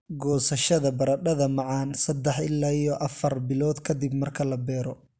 Goosashada baradhada macaan sadah ila iyo afar bilood ka dib marka la beero.